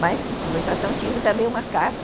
Mas, em conversação, tínhamos também uma casa.